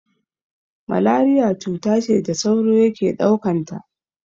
Malariya cuta ce da sauro yake ɗaukanta.